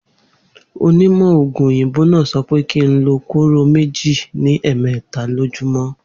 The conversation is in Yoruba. Onímò̩ ògùn òyìnbó náà so̩ pé kí n lo kóró méjì ní è̩è̩mé̩ta lójúmó̩